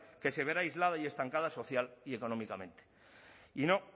que se verá aislada y estancada social y económicamente y no